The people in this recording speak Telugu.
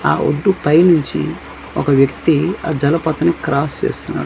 ఆ ఒడ్డు పైనుంచి ఒక వ్యక్తి ఆ జలపాతాన్ని క్రాస్ చేస్తున్నారు.